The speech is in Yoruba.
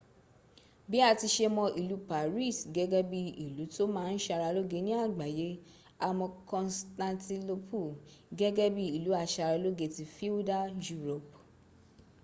bí a ti ṣe mọ ìlú paris gẹ́gẹ́ bí ìlú tó ma ń ṣàralóge ní àgbáyé a mọ constantinople gẹ́gẹ́ bí ìlú aṣaralógé tí feudal europe